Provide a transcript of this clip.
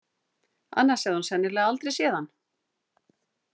Annars hefði hún sennilega aldrei séð hann.